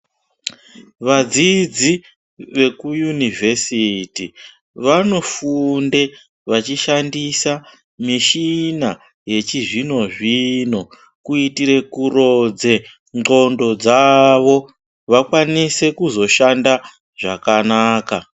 Vadzidzi veku yunivesiti vanofunde vachishandise mishina yechizvino zvino kuitire kurodze ndxondo dzavo vakwanise kuzoshanda zvakanaka.